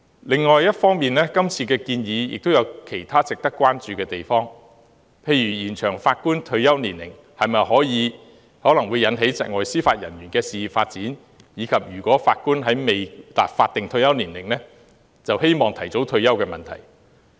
另一方面，今次的建議也有其他值得關注的地方，例如延長法官退休年齡會導致窒礙司法人員事業的發展，以及法官未達法定退休年齡便希望提早退休的問題。